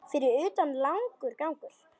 Fyrir utan langur gangur.